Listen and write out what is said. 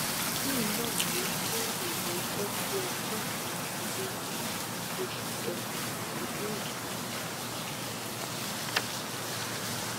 lẹyìn náà ló sún ìgbẹjọ sí ọjọ kẹrìndínlógún oṣù kẹfà ọdún yìí